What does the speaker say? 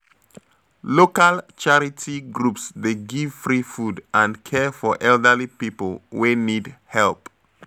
Local charity groups dey give free food and care for elderly people wey need help.